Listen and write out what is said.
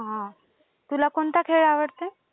तुला कोणता खेळ आवडते?